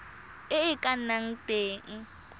e e ka nnang teng